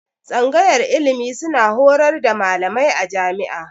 Tsangayar ilimi suna horars da malamai a jami'a